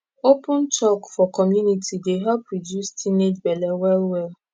open talk for community dey help reduce teenage belle well well